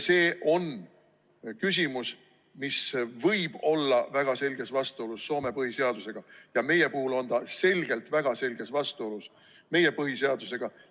See on küsimus, mis võib olla väga selges vastuolus Soome põhiseadusega, ja ka meie puhul on see väga selges vastuolus meie põhiseadusega.